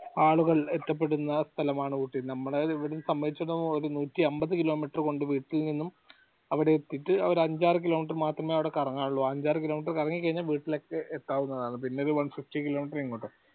ആളുകൾ എത്തപ്പെടുന്ന സ്ഥലമാണ് ഊട്ടി നമ്മടെ ഇവിടെന്ന് സഞ്ചരിച്ച വരുമ്പോ ഒരു നൂറ്റി അമ്പത് kilometer വീട്ടിൽ നിന്നും അവടെ എത്തീട്ട് ഒരു അഞ്ചാറ് kilometer മാത്രമേ അവടെ കറങ്ങാൻ ഒള്ളു അ അഞ്ചാറ് kilometer കറങ്ങിക്കഴിഞ്ഞ വീട്ടിൽ എത്താവുന്നതാണ് പിന്നൊരു one fifty kilometer ഇങ്ങോട്ട്